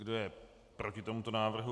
Kdo je proti tomuto návrhu?